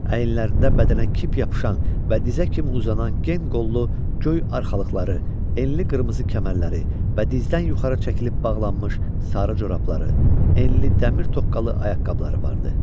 Əyinlərində bədənə kip yapışan və dizə kimi uzanan gen qollu göy arxalıqları, enli qırmızı kəmərləri və dizdən yuxarı çəkilib bağlanmış sarı corabları, enli dəmir toqqalı ayaqqabıları vardı.